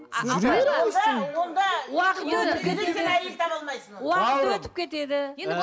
уақыт өтіп кетеді